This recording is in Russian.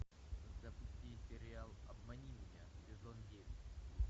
запусти сериал обмани меня сезон девять